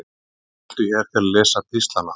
Smelltu hér til að lesa pistlana